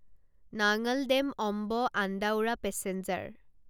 নাঙল dam Amb Andaura passenger